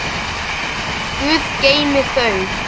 Guð geymi þau.